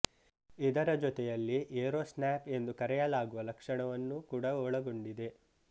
ಇದರ ಜೊತೆಯಲ್ಲಿ Aero Snap ಎಂದು ಕರೆಯಲಾಗುವ ಲಕ್ಷಣವನ್ನು ಕೂಡ ಒಳಗೊಂಡಿದೆ